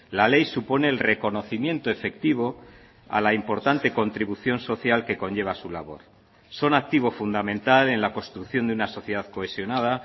la ley supone el reconocimiento efectivo a la importante contribución social que conlleva su labor son activo fundamental en la construcción de una sociedad cohesionada